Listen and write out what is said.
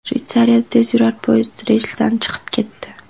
Shveysariyada tezyurar poyezd relsdan chiqib ketdi.